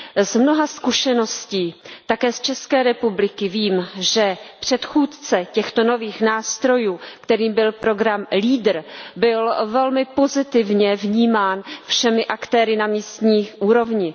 Z mnoha zkušeností také z České republiky vím, že předchůdce těchto nových nástrojů, kterým byl program LEADER, byl velmi pozitivně vnímán všemi aktéry na místní úrovni.